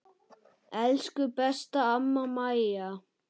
Elsku besta amma Maja.